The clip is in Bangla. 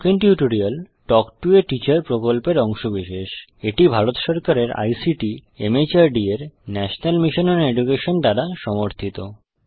spoken tutorial talk to a teacher প্রকল্পের অংশবিশেষ এটি ভারত সরকারের আইসিটি মাহর্দ এর ন্যাশনাল মিশন ওন এডুকেশন দ্বারা সমর্থিত